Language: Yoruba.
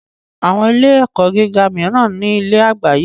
Àwọn ilé - ẹ̀kọ́ gíga míràn ní ilé àyágbé